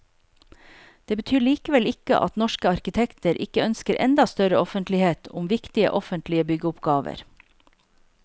Det betyr likevel ikke at norske arkitekter ikke ønsker enda større offentlighet om viktige offentlige byggeoppgaver.